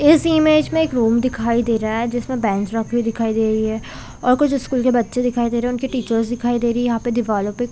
इस इमेज में एक रूम दिखाई दे रहा है जिसमे बेंच रखे दिखाई दे रही है और कुछ स्कूल के बच्चे दिखाई दे रहे है उनके टीचर दिखाई दे रही है यहाँ पे दीवालो पे कुछ---